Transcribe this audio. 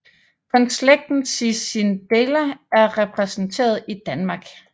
Kun slægten Cicindela er repræsenteret i Danmark